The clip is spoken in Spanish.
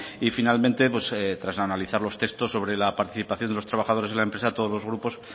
y finalmente pues tras analizar los textos sobre la participación de los trabajadores en la empresa todos los grupos